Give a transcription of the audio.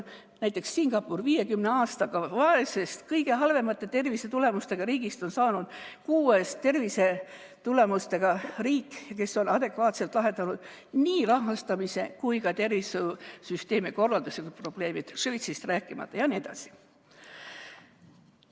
Näiteks on Singapurist 50 aastaga saanud vaesest, kõige halvemate tervisetulemustega riigist tervisetulemuste poolest kuues riik, kes on adekvaatselt lahendanud nii rahastamise kui ka tervishoiusüsteemi korralduse probleemid, Šveitsist rääkimata, jne.